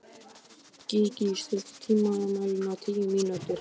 Gígí, stilltu tímamælinn á tíu mínútur.